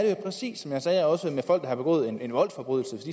jo præcis som jeg sagde også med folk som har begået en voldsforbrydelse